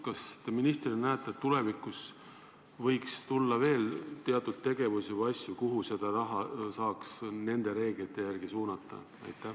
Kas te ministrina näete, et tulevikus võiks tulla veel teatud tegevusi või asju, mille jaoks seda raha saaks nende reeglite järgi suunata?